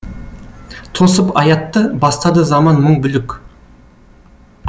тосып аятты бастады заман мың бүлік